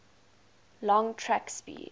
long track speed